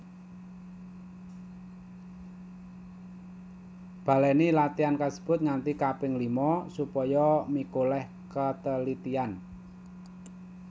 Balèni latihan kasebut nganti kaping lima supaya mikolèh katelitian